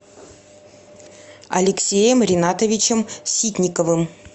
алексеем ринатовичем ситниковым